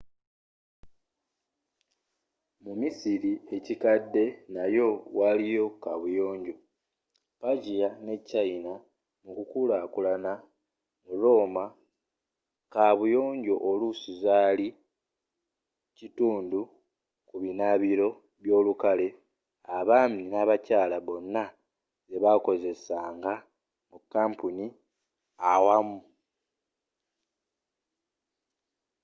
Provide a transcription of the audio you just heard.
mu misiri ekikadde nayo waliyo kabuyonjo persia ne china mukukulakulana mu roma kabuyonjo oluusi zali kitundu kubinabiro byolukale abaami n'abakyaala bonna jebakozesanga mu kampuni awamu